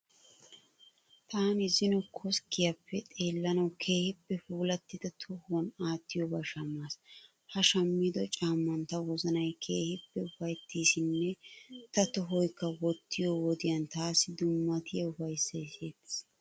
Taani zino koskkiyaappe xeellanawu keehippe puulattida tohuwan aattiyobaa shammaas. Ha shammido caamman ta wozanay keehippe ufayitteesinne ta tohoykka wottiyo wodiyan taassi dummatiya ufayissay siyettees.